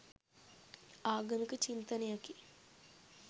ආගමික චින්තනයකි.